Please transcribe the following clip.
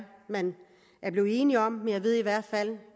man er blevet enige om men jeg ved i hvert fald